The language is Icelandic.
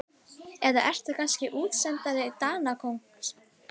Eða ertu kannski útsendari Danakonungs?